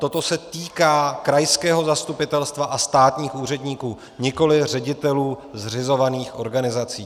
Toto se týká krajského zastupitelstva a státních úředníků, nikoliv ředitelů zřizovaných organizací.